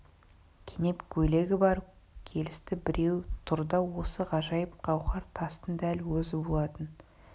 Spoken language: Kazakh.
кенеп көйлегі бар келісті біреу тұр да осы ғажайып гауһар тастың дәл өзі болатын